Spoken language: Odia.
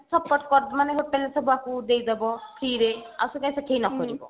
support ମାନେ hotel ରେ ସେ ବସି ଉଡେଇ ଦେବ free ରେ ଆଉ ସେଟା ସେଠି ନକରିବ